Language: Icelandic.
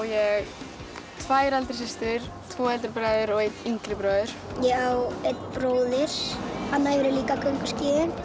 tvær eldri systur tvo eldri bræður og einn yngri bróður ég á einn bróður hann æfir líka gönguskíði